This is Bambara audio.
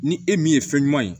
Ni e min ye fɛn ɲuman ye